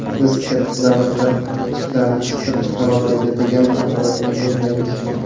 Biz katta davlatlar kichiklarni siqib chiqarolmaydi, degan tamoyilni yoqlaymiz.